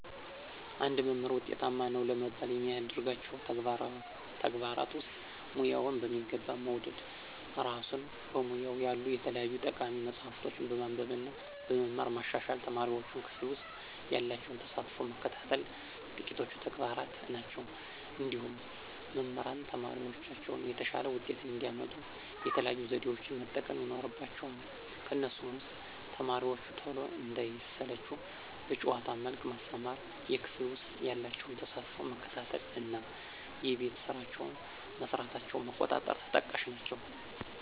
አንድ መምህር ውጤታማ ነው ለመባል ከሚያደርጋቸው ተግባራት ውስጥ፦ ሙያውን በሚገባ መውደድ፣ እራሱን በሙያው ያሉ የተለያዩ ጠቃሚ መፅሀፎችን በማንበብ እና በመማር ማሻሻል፣ ተማሪዎቹን ክፍል ውሰጥ ያላቸውን ተሳትፎ መከታተል ጥቂቶቹ ተግባራት ናቸው። እንዲሁም መምህራን ተማሪዎቻቸው የተሻለ ውጤት እንዲያመጡ የተለያዩ ዘዴዎችን መጠቀም ይኖርባቸዋል ከነሱም ውስጥ፦ ተማሪዎቹ ቶሎ እንዳይሰለቹ በጨዋታ መልክ ማስተማር፣ የክፍል ውስጥ ያላቸውን ተሳትፎ መከታተል እና የቤት ስራቸውን መስራታቸውን መቆጣጠር ተጠቃሽ ናቸው።